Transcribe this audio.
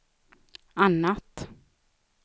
annat